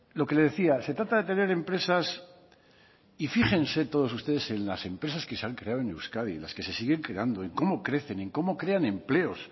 lo que le decía se trata de tener empresas y fíjense todos ustedes en las empresas que se han creado en euskadi las que se siguen creando en cómo crecen con cómo crean empleos